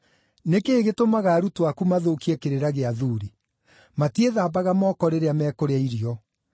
“Nĩ kĩĩ gĩtũmaga arutwo aku mathũkie kĩrĩra gĩa athuuri? Matiĩthambaga moko rĩrĩa mekũrĩa irio!”